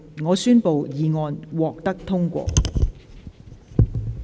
我宣布議案獲得通過。